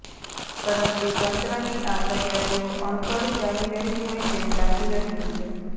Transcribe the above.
પરંતુ તંત્રની આ તૈયારીઓ અણઘડ ચાલી રહી હોય તેમ લાગી રહ્યું છે